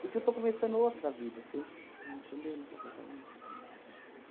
Porque eu estou começando outra vida, você estão entendendo o que eu estou falando?